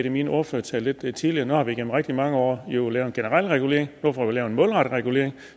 i min ordførertale lidt tidligere har vi igennem rigtig mange år nu jo lavet en generel regulering nu får vi lavet en målrettet regulering